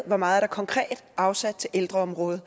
hvor meget der konkret er afsat til ældreområdet